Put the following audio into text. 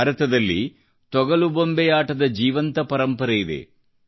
ಭಾರತದಲ್ಲಿ ತೊಗಲುಬೊಂಬೆಯಾಟದ ಜೀವಂತ ಪರಂಪರೆಯಿದೆ